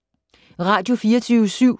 Radio24syv